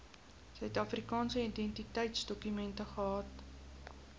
suidafrikaanse identiteitsdokument gehad